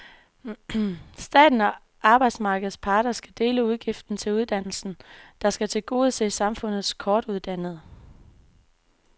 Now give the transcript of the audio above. Staten og arbejdsmarkedets parter skal dele udgiften til uddannelsen, der skal tilgodese samfundets kortuddannede.